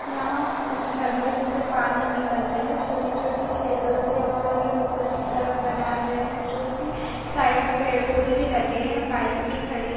यहाँ उस झरने जैसे पानी निकल रहे है छोटी छोटी छेदों से और यह उपर की तरफ बना रहे है जो की साइड में पेड़ पोधे भी लगे है बाइक भी खड़ी--